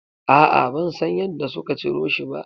A'a, ban san yadda suka ciro shi ba.